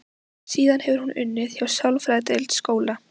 Síðan hefur hún unnið hjá sálfræðideild skóla.